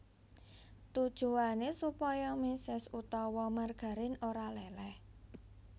Tujuwané supaya méses utawa margarin ora léléh